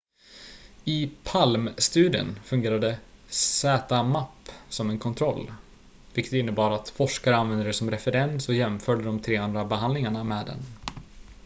i palm-studien fungerade zmapp som en kontroll vilket innebar att forskare använde det som referens och jämförde de tre andra behandlingarna med den